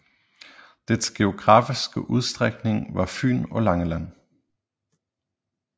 Dets geografiske udstrækning var Fyn og Langeland